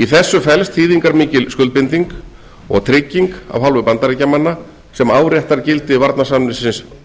í þessu felst þýðingarmikil skuldbinding og trygging af hálfu bandaríkjamanna sem áréttar gildi varnarsamningsins frá nítján hundruð